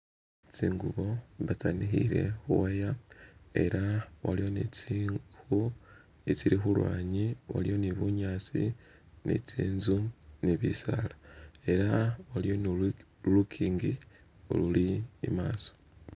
Tsingubo nga tsanikhiwile khu wire ela waliwo ni ziiku izili khulwanyi waliyo ni bunyaasi bwe zinzu ze bisaala ela waliyo ni lugingi ululi imaaso.